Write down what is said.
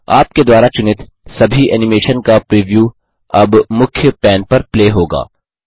आपके द्वारा चुनित सभी एनिमेशन का प्रिव्यू अब मुख्य पैन पर प्ले होगा